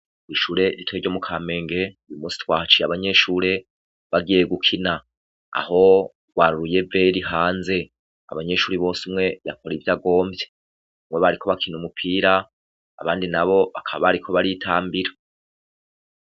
Ishure ritoya ryo mu Kamenge uyu munsi twahaciye bagiye gukina, aho rwari uruyeveri hanze. Abanyeshure bose umwe yakora ivyo agomvye. Bamwe bariko barakina umupira, abandi n'abo bakaba bariko baritambira.